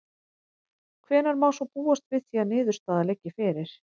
Þorbjörn: Hvenær má svo búast við því að niðurstaða liggi fyrir?